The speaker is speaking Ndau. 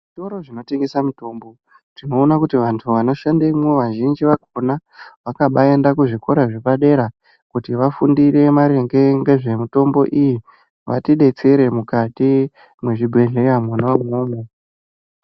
Zvitoro zvinotengesa mitombo tinoona kuti vanthu vanoshandemwo vazhinji vakona vakabaenda kuzvikora zvepadera kuti vafundire maringe nezvemitombo iyi vatidetsere mukati mwezvibhedhleya mwona imwomwo.